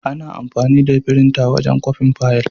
Ana amfani da firinta wajen kwafin fayil.